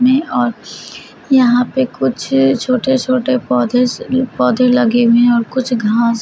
यहां पे कुछ छोटे - छोटे पौधे से पौधे लगे हुए है और कुछ घास --